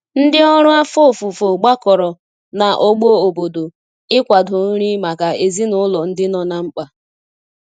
Ndi ọrụ afọ ọfufo gbakọrọ na ogbo obodo ị kwado nri maka ezinulo ndi nọ na mkpa